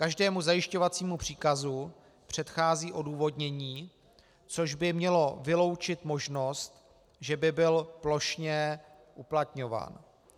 Každému zajišťovacímu příkazu předchází odůvodnění, což by mělo vyloučit možnost, že by byl plošně uplatňován.